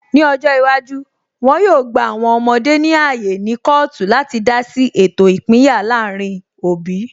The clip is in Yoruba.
Ní ọjọ́ iwájú, wọn yóò gba àwọn ọmọdé ní ààyè ní kọọtu láti dá sí ètò ìpínyà láàrin òbí